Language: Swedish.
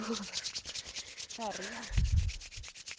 färja